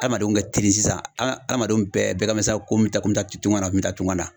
Adamadenw ka kteli sisan a adamadenw bɛɛ bɛɛ kan bɛ sisan ko me taa tungan na, me taa tungan na